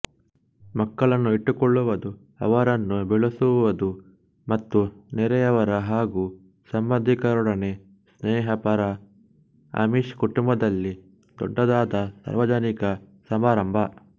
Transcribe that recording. ಮಕ್ಕಳನ್ನು ಇಟ್ಟುಕೊಳ್ಳುವದು ಅವರನ್ನು ಬೆಳೆಸುವದು ಮತ್ತು ನೆರೆಯವರ ಹಾಗು ಸಂಬಂಧಿಕರೊಡನೆ ಸ್ನೇಹಪರ ಅಮಿಶ್ ಕುಟುಂಬದಲ್ಲಿ ದೊಡ್ಡದಾದ ಸಾರ್ವಜನಿಕ ಸಮಾರಂಭ